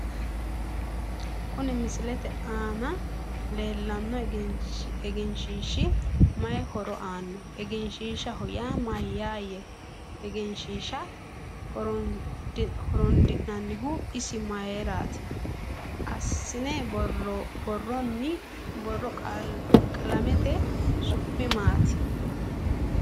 Kuni misilete aana leelanno egenshiishi mayi horo aano egeshiishaho yaa mayaaye egenshiisha horoondinanihu isi mayiirati aanasi buurooni qalamete su'mi maati